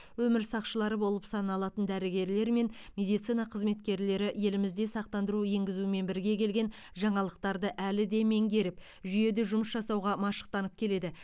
өмір сақшылары болып саналатын дәрігерлер мен медицина қызметкерлері елімізде сақтандыру енгізумен бірге келген жаңалықтарды әлі де меңгеріп жүйеде жұмыс жасауға машықтанып келеді